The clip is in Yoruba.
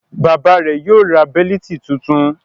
Bàbá rẹ̀ yóò ra bẹ́lítì tuntun.